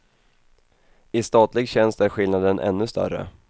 I statlig tjänst är skillnaden ännu större.